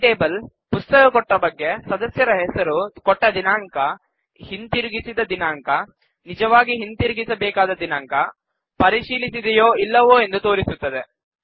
ಈ ಟೇಬಲ್ ಪುಸ್ತಕ ಕೊಟ್ಟ ಬಗ್ಗೆ ಸದಸ್ಯರ ಹೆಸರು ಕೊಟ್ಟ ದಿನಾಂಕ ಹಿಂತಿರುಗಿಸಿದ ದಿನಾಂಕ ನಿಜವಾಗಿ ಹಿಂತಿರುಗಿಸಬೇಕಾದ ದಿನಾಂಕ ಪರಿಶೀಲಿಸಿದೆಯೋ ಇಲ್ಲವೋ ಎಂದು ತೋರಿಸುತ್ತದೆ